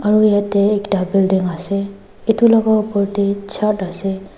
aru yatae ekta building ase edu laka opor tae chart ase.